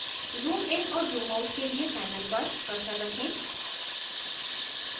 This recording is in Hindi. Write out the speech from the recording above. zoomइन और zoomout के लिए panel पर cursor रखें